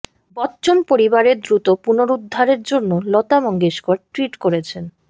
বচ্চন পরিবারের দ্রুত পুনরুদ্ধারের জন্য লতা মঙ্গেশকর টুইট করেছেন